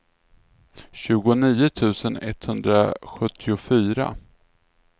tjugonio tusen etthundrasjuttiofyra